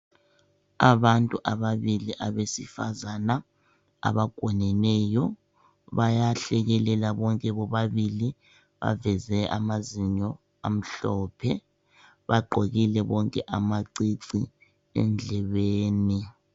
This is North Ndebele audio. Abantu ababili abesifazana abagoneneyo, bayahlekelela bonke bobabili baveze amazinyo amhlophe. Bagqokile bonke amacici endlebeni.